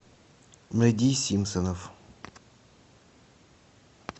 найди симпсонов